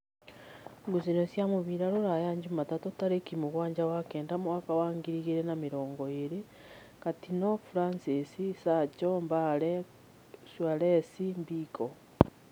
Ngucanio cia mũbira Ruraya Jumatatũ tarĩki mũgwanja wa kenda mwaka wa ngiri igĩrĩ na mĩrongo ĩrĩ: Katino, Fransis, Sacho, Mbale, Cuarez, Mbiko